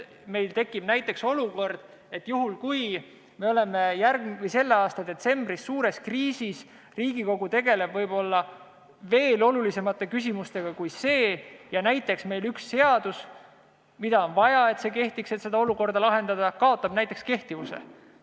Meil võib tekkida näiteks olukord, et oleme selle aasta detsembris suures kriisis ja Riigikogu tegeleb võib-olla veel olulisemate küsimustega ja siis näiteks see üks seadus, mida on selle olukorra lahendamiseks vaja, kaotab kehtivuse.